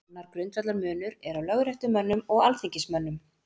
Annar grundvallarmunur er á lögréttumönnum og alþingismönnum.